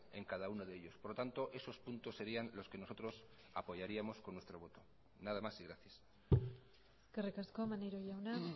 en cada uno de ellos por lo tanto esos puntos serían los que nosotros apoyaríamos con nuestro voto nada más y gracias eskerrik asko maneiro jauna